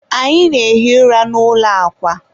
anyị na-ehi ụra n'ụlọ akwa.